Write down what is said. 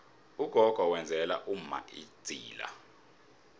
ugogo wenzela umma idzila